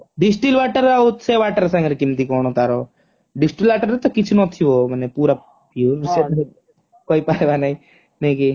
Distil water ଆଉ ସେ water ସାଙ୍ଗେରେ କେମିତି କଣ ତାର distil water ରେ ତ କିଛି ନଥିବ ମାନେ ପୁରା pure କହିପାରିବା ନାହିଁ ନାଇଁ କି